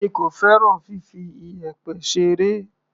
Èmi kò fẹ́ràn fifi iyẹ̀pẹ̀ ṣeré.